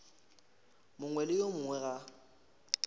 mongwe le yo mongwe ga